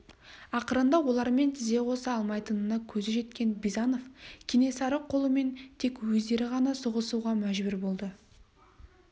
ақырында олармен тізе қоса алмайтынына көзі жеткен бизанов кенесары қолымен тек өздері ғана соғысуға мәжбүр болды